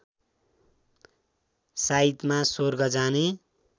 साइतमा स्वर्ग जाने